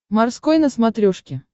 морской на смотрешке